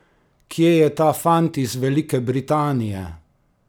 Kje je ta fant iz Velike Britanije?